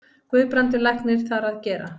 Guðbrandur læknir þar að gera.